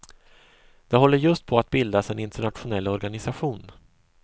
Det håller just på att bildas en internationell organisation.